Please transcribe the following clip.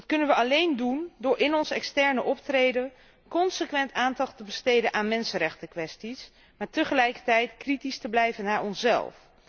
Dat kunnen we alleen doen door in ons extern optreden consequent aandacht te besteden aan mensenrechtenkwesties, maar tegelijkertijd kritisch te blijven over onszelf.